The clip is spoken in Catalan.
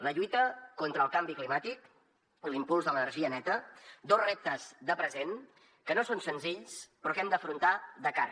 la lluita contra el canvi climàtic i l’impuls de l’energia neta dos reptes de present que no són senzills però que hem d’afrontar de cara